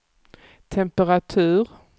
temperatur